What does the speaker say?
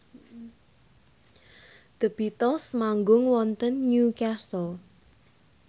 The Beatles manggung wonten Newcastle